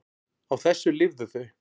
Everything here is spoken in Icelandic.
Á þessu lifðu þau.